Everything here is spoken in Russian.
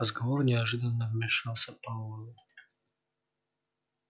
в разговор неожиданно вмешался пауэлл